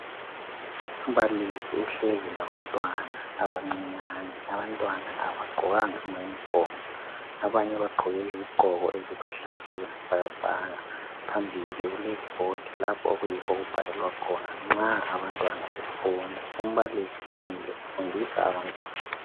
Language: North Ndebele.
Umbalisi uhlezi labantwana abancinyane . Abantwana abagqokanga amauniform abanye bagqoke izigqoko eziluhlaza okwesibhakabhaka . Phambili kule board lapho okuyikho okubhalelwa khona nxa abantwana befunda . Umbalisi umile ufundisa abantwana .